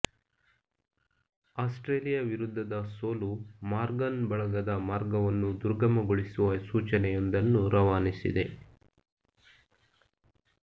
Australia ವಿರುದ್ಧದ ಸೋಲು Morgan ಬಳಗದ ಮಾರ್ಗವನ್ನು ದುರ್ಗಮಗೊಳಿಸುವ ಸೂಚನೆಯೊಂದನ್ನು ರವಾನಿಸಿದೆ